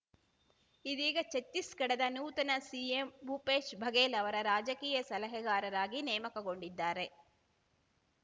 ಇದೀಗ ಛತ್ತೀಸ್‌ಗಢದ ನೂತನ ಸಿಎಂ ಭೂಪೇಶ್‌ ಬಘೇಲ್‌ ಅವರ ರಾಜಕೀಯ ಸಲಹೆಗಾರರಾಗಿ ನೇಮಕಗೊಂಡಿದ್ದಾರೆ